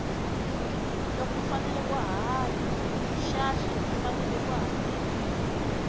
loko u fane u hanya xahle u fane u hakela